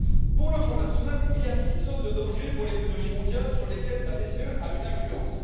Pour le Front national, il y a six zones de danger pour l'économie mondiale, sur lesquelles la BCE a une influence.